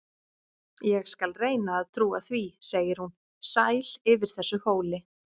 Ég skal reyna að trúa því, segir hún, sæl yfir þessu hóli.